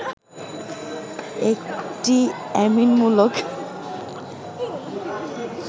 একটি অ্যামিন মূলক